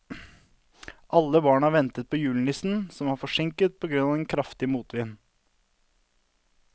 Alle barna ventet på julenissen, som var forsinket på grunn av den kraftige motvinden.